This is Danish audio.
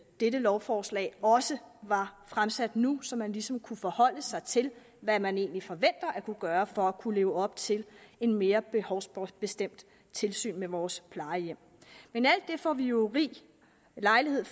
dette lovforslag også var fremsat nu så man ligesom kunne forholde sig til hvad man egentlig forventer at kunne gøre for at kunne leve op til et mere behovsbestemt tilsyn med vores plejehjem men alt det får vi jo rig lejlighed